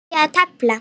Byrjið að telja.